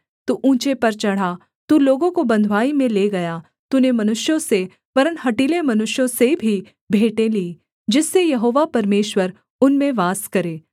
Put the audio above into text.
तू ऊँचे पर चढ़ा तू लोगों को बँधुवाई में ले गया तूने मनुष्यों से वरन् हठीले मनुष्यों से भी भेंटें लीं जिससे यहोवा परमेश्वर उनमें वास करे